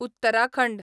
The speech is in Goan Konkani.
उत्तराखंड